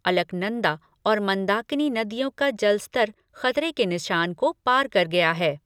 अलकनंदा और मंदाकिनी नदियों का जल स्तर खतरे के निशान को पार कर गया है।